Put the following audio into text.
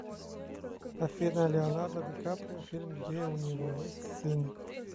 афина леонардо ди каприо фильм где у него есть сын